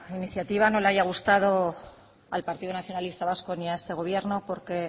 iniciativa no le haya gustado al partido nacionalista vasco y a este gobierno porque